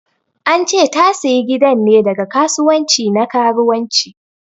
An che ta sayi gidan ne daga kasuwanci na karuwanci.